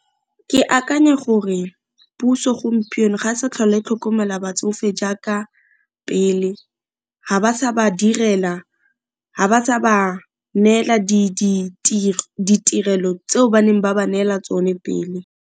Ke akanya gore puso gompieno ga e sa tlhole e tlhokomela batsofe jaaka pele, ga ba sa ba direla, ga ba sa ba neela ditirelo tseo ba neng ba ba neela tsone pele.